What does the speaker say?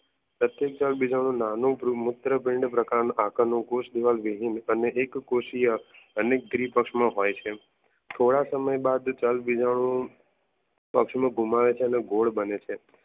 નાનો બ્રુમૂત્રાગુંદ્પ્રકંદ કુશ દીવાલ વિજયી ને અને એક કોશિયા અનેક દ્વીપક્ષનો હોય છે. થોડા સમય બાદ દલબીજાનું પક્ષના ગુમાવે છે અને ગોળ બને છે